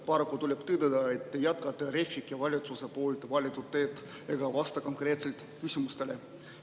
Paraku tuleb tõdeda, et te jätkate Refi ikke valitsuse valitud teed ega vasta konkreetselt küsimustele.